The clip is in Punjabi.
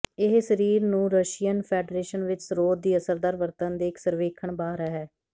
ਇਹ ਸਰੀਰ ਨੂੰ ਰਸ਼ੀਅਨ ਫੈਡਰੇਸ਼ਨ ਵਿੱਚ ਸਰੋਤ ਦੀ ਅਸਰਦਾਰ ਵਰਤਣ ਦੇ ਇੱਕ ਸਰਵੇਖਣ ਬਾਹਰ ਹੈ